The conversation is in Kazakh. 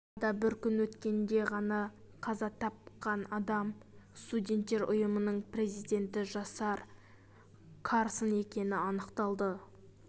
арада бір күн өткенде ғана қаза тапқан адам студенттер ұйымының президенті жасар карсон екені анықталды